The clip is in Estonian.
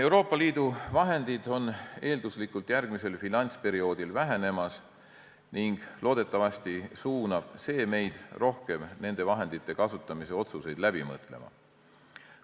Euroopa Liidu vahendid eelduslikult järgmisel finantsperioodil vähenevad ning loodetavasti suunab see meid rohkem nende vahendite kasutamise otsuseid läbi mõtlema.